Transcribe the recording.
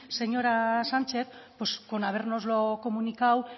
señora sánchez con habérnoslo comunicado